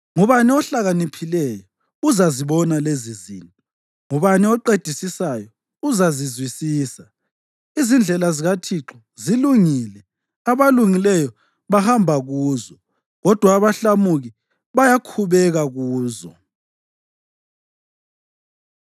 Ngubani ohlakaniphileyo? Uzazibona lezizinto. Ngubani oqedisisayo? Uzazizwisisisa. Izindlela zikaThixo zilungile abalungileyo bahamba kuzo, kodwa abahlamuki bayakhubeka kuzo.